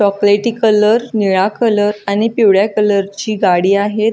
चॉकलेटी कलर निळा कलर आणि पिवळ्या कलर ची गाडी आहे.